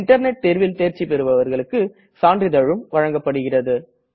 internet தேர்வில் தேர்ச்சி பெறுபவர்களுக்கு சான்றிதழும் வழங்கப்படுகிறது